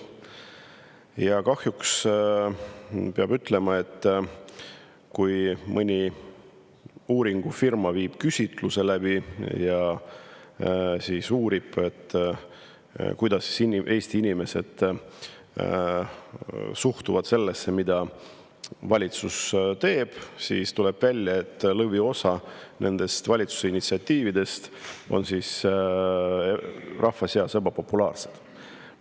Ja kahjuks peab ütlema, et kui mõni uuringufirma viib küsitluse läbi ja uurib, kuidas Eesti inimesed suhtuvad sellesse, mida valitsus teeb, siis tuleb välja, et lõviosa valitsuse initsiatiividest on rahva seas ebapopulaarsed.